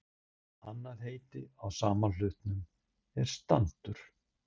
Annað heiti á sama hlut er standur.